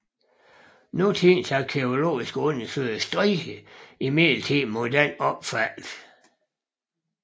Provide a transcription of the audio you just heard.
Nutidens arkæologiske undersøgelser strider imidlertid imod denne opfattelse